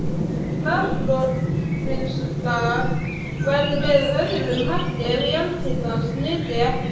Raforkuvinnsla væri með öðrum hætti ef jarðhitans nyti ekki við.